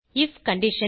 if condition